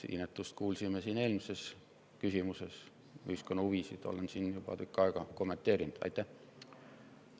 Inetust me kuulsime siin eelmises küsimuses, ühiskonna huvisid olen kommenteerinud juba tükk aega.